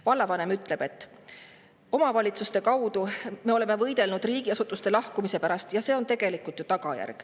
Vallavanem ütles, et nad on omavalitsustes võidelnud riigiasutuste lahkumise vastu, aga tagajärg on tegelikult selline.